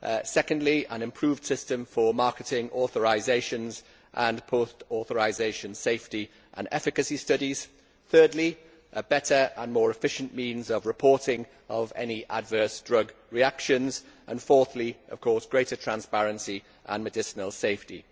secondly, an improved system for marketing authorisations and post authorisation safety and efficacy studies, thirdly, a better and more efficient means of reporting of any adverse drug reactions and fourthly, of course, greater transparency and medicinal safety.